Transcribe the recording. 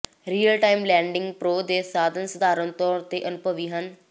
real time landing pro ਦੇ ਸਾਧਨ ਸਾਧਾਰਣ ਤੌਰ ਤੇ ਅਨੁਭਵੀ ਹਨ